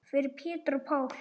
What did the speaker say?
Fyrir Pétur og Pál.